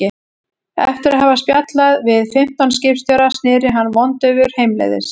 Eftir að hafa spjallað við fimmtán skipstjóra sneri hann vondaufur heimleiðis.